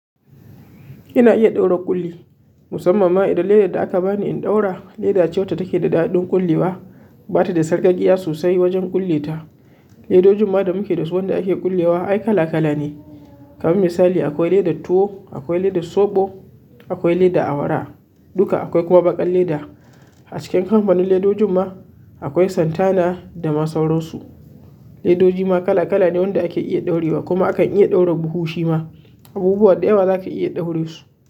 Ina iya ɗaura ƙulli, musamman ma idan ledar da aka bani in ɗaura leda ce wacce take da da'adin ƙullewa, bata da sarƙaƙƙiya sosai wajen kulle ta. Ledojin ma da muke da su wanda ake ƙullewa ai kala-kala ne. Kamar misali akwai leather tuwo, akwai leather soɓo, akwai leather awara, duka akwai kuma baƙar leather. A cikin kamfanin lethers ma akwai Santana da ma sauran su. Leathers ma kala-kala ne wanda ake iya ɗaurewa kuma akan iya ɗaura buhu shi ma. Abubuwa da yawa zaka iya ɗaure su.